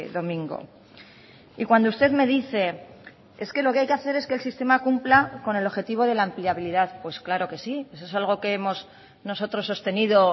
domingo y cuando usted me dice es que lo que hay que hacer es que el sistema cumpla con el objetivo de la empleabilidad pues claro que sí eso es algo que hemos nosotros sostenido